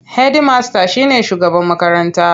Hedimasta shi ne shugaban makaranta.